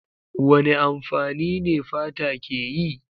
Wane amfani ne fata ke yi?